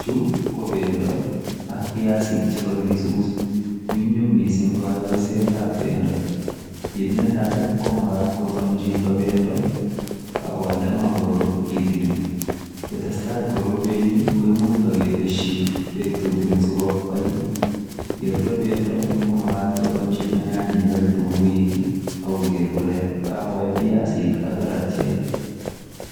Chuu ko bendo ak biasiik ,che kakisuus , nyumnyum missing kayoiset ab bendo kit netai ko magaat chitoo kogoon bendo agonde maa korur kitikin ,kotesetai korur ak itaketesyii beek tutukiin sikomuuch kobai ye rure bendo komagaat kotoon chitoo nyanyek ak kitunguuik ako koger kole kowai biasiik karatiek